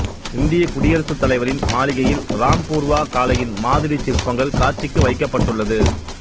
இந்தியக் குடியரசுத் தலைவரின் மாளிகையில் ராம்பூர்வா காளையின் மாதிரிச் சிற்பங்கள் காட்சிக்கு வைக்கப்பட்டுள்ளது